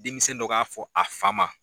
Denmisɛn dɔ k'a fɔ a fa ma